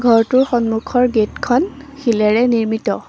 ঘৰটোৰ সন্মুখৰ গেট খন শিলেৰে নিৰ্মিত।